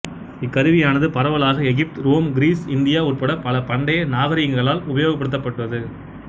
இக்கருவியானது பரவலாக Egypt Rome Greece India உட்பட பல பண்டைய நாகரீகங்களால் உபயோகப்படுத்தப்பட்டது